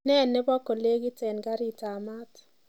Nee nebo kolekit eng karitab maat